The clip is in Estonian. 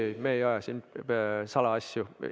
Ei-ei, me ei aja siin salaasju.